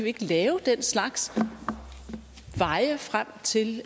ikke lave den slags veje frem til